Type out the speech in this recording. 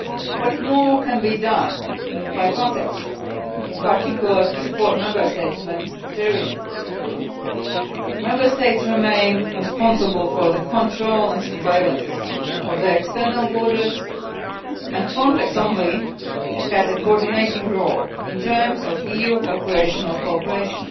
What more can be done by Frontex, in particular to support Member States in the Mediterranean? Member States remain responsible for the control and surveillance of their external borders, and Frontex only has a coordinating role in terms of EU operational cooperation.